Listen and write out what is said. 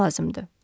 Belə lazımdı.